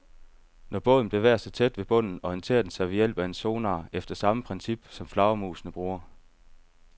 Når båden bevæger sig tæt ved havbunden, orienterer den sig ved hjælp af en sonar efter samme princip, som flagermusene bruger.